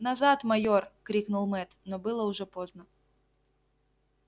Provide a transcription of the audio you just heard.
назад майор крикнул мэтт но было уже поздно